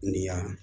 Ni yan